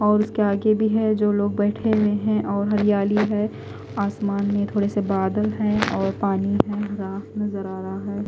और उसके आगे भी है जो लोग बैठे हुए हैं और हरियाली है। आसमान में थोड़े से बादल हैं और पानी है। हरा नजर आ रहा है।